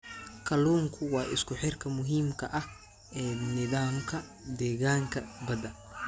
Kalluunku waa isku xirka muhiimka ah ee nidaamka deegaanka badda.